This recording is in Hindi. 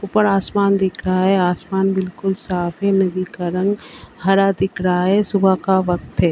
ऊपर आसमान दिख रहा है। आसमान बिल्कुल साफ है। नदी का रंग हरा दिख रहा है। सुबह का वक्त है।